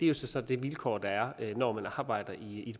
jo så det vilkår der er når man arbejder i et